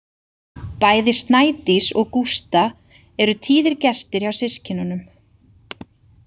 Bæði Snædís og Gústa eru tíðir gestir hjá systkinunum.